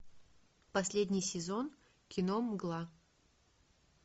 последний сезон кино мгла